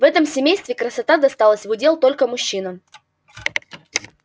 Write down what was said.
в этом семействе красота досталась в удел только мужчинам